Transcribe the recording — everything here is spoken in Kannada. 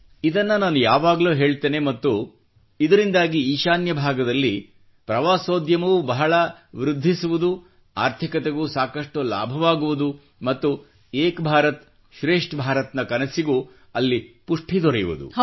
ಇದನ್ನು ನಾನು ಯಾವಾಗಲೂ ಹೇಳುತ್ತೇನೆ ಮತ್ತು ಇದರಿಂದಾಗಿ ಈಶಾನ್ಯ ಭಾಗದಲ್ಲಿ ಪ್ರವಾಸೋದ್ಯಮವೂ ಬಹಳ ವೃದ್ಧಿಸುವುದು ಆರ್ಥಿಕತೆಗೂ ಸಾಕಷ್ಟು ಲಾಭವಾಗುವುದು ಮತ್ತು ಏಕ್ ಭಾರತ್ ಶ್ರೇಷ್ಠ್ ಭಾರತ್ ನ ಕನಸಿಗೂ ಅಲ್ಲಿ ಪುಷ್ಠಿ ದೊರೆಯುವುದು